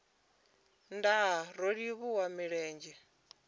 aa nndaa ro livhuwa milenzhe